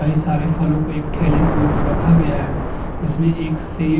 कई सारे फलों को एक ठेले के ऊपर रखा गया हैं। इसमें एक सेब --